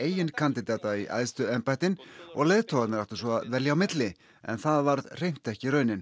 eigin kandidata í æðstu embættin og leiðtogarnir áttu svo að velja á milli en það varð hreint ekki raunin